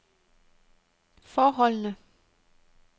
forholdene